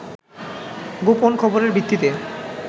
গোপন খবরের ভিত্তিতে